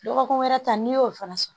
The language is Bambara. Dɔgɔkun wɛrɛ ta n'i y'o fana sɔrɔ